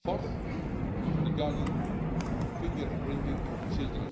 Fourthly, regarding the finger printing of children,